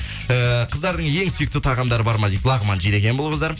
эээ қыздардың ең сүйікті тағамдары бар ма дейді лағман жейді екен бұл қыздар